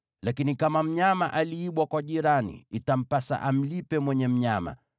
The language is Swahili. Lakini kama mnyama aliibwa kwa jirani, itampasa amlipe mwenye mnyama.